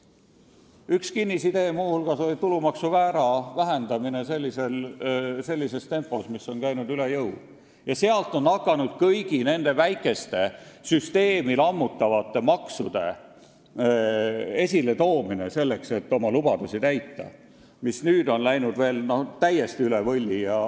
Üks kinnisidee oli muu hulgas tulumaksu määra vähendamine sellises tempos, mis on käinud üle jõu, ja sealt on saanud alguse kõigi nende väikeste, süsteemi lammutavate maksude esiletoomine, selleks et oma lubadusi täita, mis nüüd on läinud täiesti üle võlli.